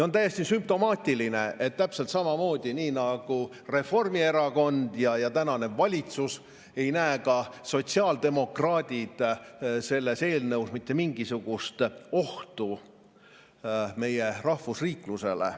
On täiesti sümptomaatiline, et täpselt samamoodi nagu Reformierakond ja tänane valitsus, ei näe ka sotsiaaldemokraadid selles eelnõus mitte mingisugust ohtu meie rahvusriiklusele.